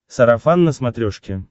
сарафан на смотрешке